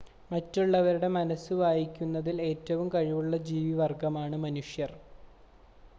മറ്റുള്ളവരുടെ മനസ്സ് വായിക്കുന്നതിൽ ഏറ്റവും കഴിവുള്ള ജീവവർഗ്ഗമാണ് മനുഷ്യർ